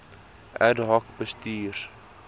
ad hoc bestuurs